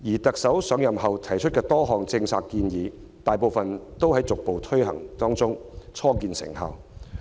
特首在上任後提出多項政策建議，大部分都在逐步推行中，初見成效。